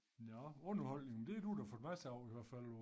Nå underholdning det du da fået masser af i hvert fald på